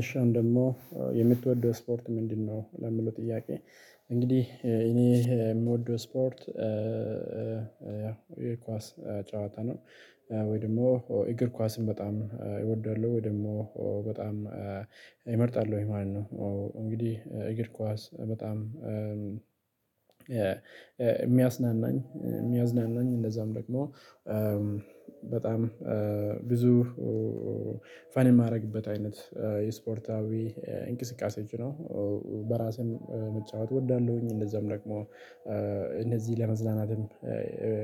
እሺ አሁን ደግሞ የምትወደው ስፖርት ምንድነው? ለሚለው ጥያቄ እንግዲህ እኔ የምወደው ስፖርት ያ የኳስ ጫዋታ ነው። ወይ ደግሞ እግር ኳስን በጣም እወዳለሁ ወይ ደግሞ በጣም እመርጣለሁኝ ማለት ነው። እንግዲህ እግር ኳስ በጣም የሚያስናናኝ የሚያዝናናኝ እንደዛም ደግሞ በጣም ብዙ ፈን የማደርግበት አይነት የስፖርታዊ እንቅስቃሴዎች ነው። በራሴም መጫወት እወዳለሁኝ እንደዛም ደግሞ እንደዚህ ለመዝናናትም ደግሞ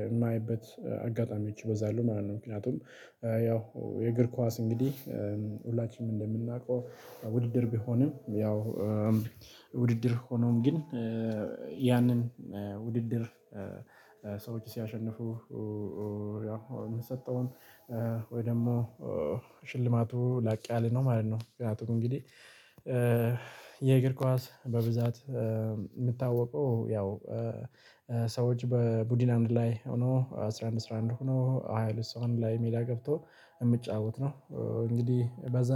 የማየበት አጋጣሚዎች ይበዛሉ ማለት ነው። ምክንያቱም ያው የእግር ኳስ እንግዲህ ሁላችንም እንደምናውቀው ውድድር ቢሆንም ያው ውድድር ሆኖም ግን ያንን ውድድር ሰዎች ሲያሸነፉ ያው የምንሰጠውን ወይ ደግሞ ሽልማቱ ላቅ ያለ ነው ማለት ነው። ምክንያቱም እንግዲህ የእግር ኳስ በብዛት የምታወቀው ያው ሰዎች በቡድን አንድ ላይ ሆኖ አስራ አንድ አስራ አንድ ሆኖ ሃያ ሁለት ሰው አንድ ላይ ሜዳ ገብቶ የሚጫወት ነው። እንግዲህ በዛ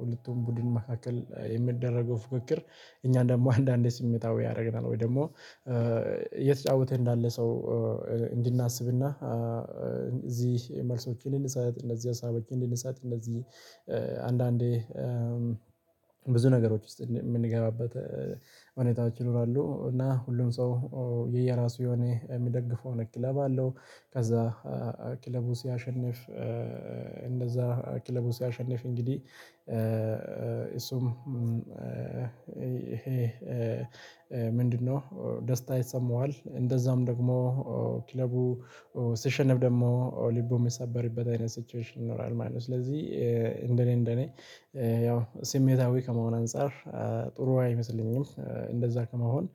ሁለቱም ቡድን መካከል የሚደረገው ፉክክር እኛ ደግሞ አንዳንዴ ስሜታዊ ያደርግናል ወይ ደግሞ እየተጫወተ እንዳለ ሰው እንድናስብና እዚህ መልሶችን ልንሰጥ እነዚህ ሀሳቦችን ልንሰጥ እነዚህ አንዳንዴ ብዙ ነገሮች ውስጥ የምንገባበት ሁኔታዎች ይኖራሉ። እና ሁሉም ሰው የየራሱ የሆነ የሚደግፈው ክለብ አለው። ከዛ ክለቡ ሲያሸንፍ እንደዛ ክለቡ ሲያሸንፍ እንግዲህ እሱም ምንድነው ደስታ ይሰማዋል እንደዛም ደግሞ ክለቡ ሲሸነፍ ደግሞ ልቡ የሚሰበሪበት አይነት ሲቹዌሽን ይኖራል ማለት ነው። ስለዚህ እንደኔ እንደኔ ያው ስሜታዊ ከመሆን አንፃር ጥሩ አይመስለኝም። እንደዛ ከመሆን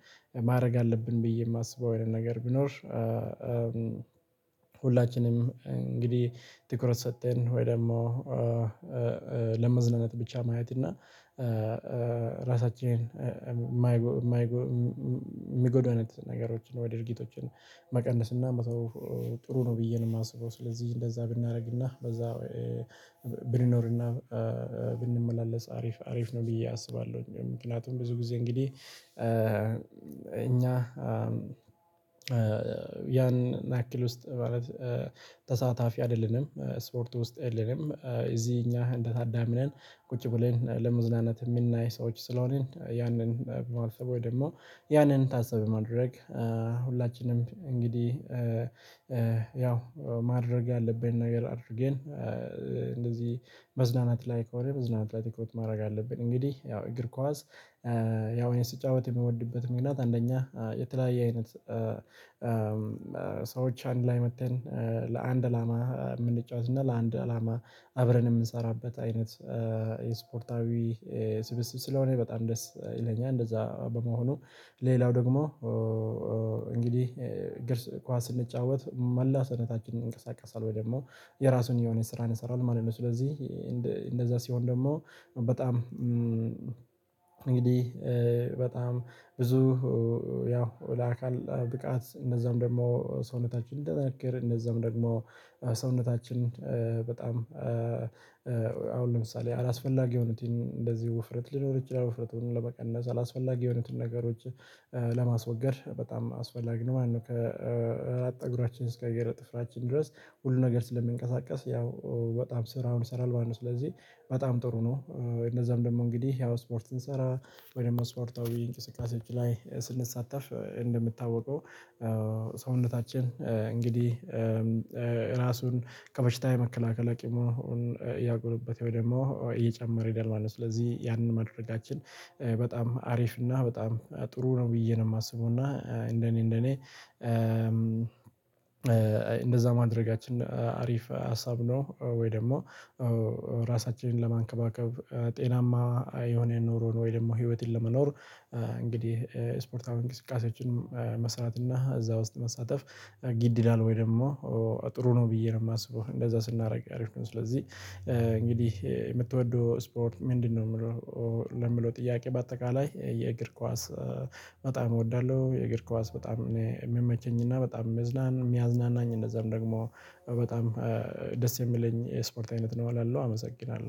ማድረግ አለብን ብዬ የማስበው አይነት ነገር ቢኖር ሁላችንም እንግዲህ ትኩረት ሰተን ወይ ደግሞ ለመዝናናት ብቻ ማየት እና ራሳችንን የማይጎዳን ነገሮችን ወደ ድርጊቶችን መቀነስና መተው ጥሩ ነው። ብዬ ነው የማስበው ስለዚህ እንደዛ ብናደርግና በዛ ብንኖርና ብንመላለስ አሪፍ አሪፍ ነው ብዬ አስባለሁኝ። ምክንያቱም ብዙ ጊዜ እንግዲህ እኛ ያን ያክል ውስጥ ማለት ተሳታፊ አይደለንም ስፖርት ውስጥ የለንም እዚህ እኛ እንደታዳሚ ነን። ቁጭ ብለን ለመዝናናት የምናይ ሰዎች ስለሆንን ያንን በማሰብ ወይ ደግሞ ያንን ታስቢ በማድረግ ሁላችንም እንግዲህ ያው ማድረግ ያለብን ነገር አድርገን እንደዚህ መዝናናት ላይ ከሆነ መዝናናት ላይ ትኩረት ማድረግ አለብን። እንግዲህ ያው እግር ኳስ ያው እኔ ስጫወት የምወድበት ምክንያት አንደኛ የተለያየ አይነት ሰዎች አንድ ላይ መጥተን ለአንድ አላማ የምንጫወት እና ለአንድ አላማ አብረን የምንሰራበት አይነት የስፖርታዊ ስብስብ ስለሆነ በጣም ደስ ይለኛል። እንደዛ በመሆኑ ሌላው ደግሞ እንግዲህ እግር ኳስ ስንጫወት መላ ሰዉነታችን ይንቀሳቀሳል ወይ ደግሞ የራሱን የሆነ ስራ ይሰራል ማለት ነው። ስለዚህ እንደዛ ሲሆን ደግሞ በጣም እንግዲህ በጣም ብዙ ያው ለአካል ብቃት እነደዛም ደግሞ ሰውነታችን እንዲጠነክር እነደዛም ደግሞ ሰውነታችን በጣም አሁን ለምሳሌ አላስፈላጊ የሆኑትን እንደዚህ ውፍረት ሊኖር ይችላል ውፍረቱን ለመቀነስ አላስፈላጊ የሆኑትን ነገሮች ለማስወገድ በጣም አስፈላጊ ነው። ማለት ነው ከ ጠጉራችን እስከ እግር ጥፍራችን ድረስ ሁሉ ነገር ስለሚንቀሳቀስ ያው በጣም ስራውን ይሰራል ማለት ነው። ስለዚህ በጣም ጥሩ ነው። እነዛም ደግሞ እንግዲህ ያው ስፖርት ስንሰራ ወይም ደግሞ ስፖርታዊ እንቅስቃሴዎች ላይ ስንሳተፍ እንደሚታወቀው ሰውነታችን እንግዲህ ራሱን ከበሽታ የመከላከል አቅሙን እያጎለበት ወይ ደግሞ እየጨመረ ይሄዳል ማለት ነው። ስለዚህ ያንን ማድረጋችን በጣም አሪፍ እና በጣም ጥሩ ነው ብዬ ነው የማስበው። እና እንደኔ እንደኔ ማድረጋችን አሪፍ ሀሳብ ነው። ወይ ደግሞ ራሳችንን ለማንከባከብ ጤናማ የሆነ ኑሮን ወይ ደግሞ ህይወትን ለመኖር እንግዲህ ስፖርታዊ እንቅስቃሴዎችን መስራት እና እዛ ውስጥ መሳተፍ ግድ ይላል ወይ ደግሞ ጥሩ ነው ብዬ ነው የማስበው። እንደዛ ስናደርግ አሪፍ ነው። ስለዚህ እንግዲህ የምትወደው ስፖርት ምንድነው? የምለው ለሚለው ጥያቄ በአጠቃላይ የእግር ኳስ በጣም እወዳለሁ። የእግር ኳስ በጣም እኔ የምመቸኝና በጣም የሚያዝናናኝ እንደዛም ደግሞ በጣም ደስ የሚለኝ የስፖርት አይነት ነው። እላለው አመሰግናለሁ